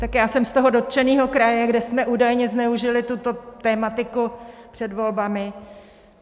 Tak já jsem z toho dotčeného kraje, kde jsme údajně zneužili tuto tematiku před volbami.